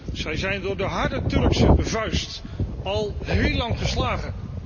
Dat is door de harde Turkse vuist al heel lang geslagen.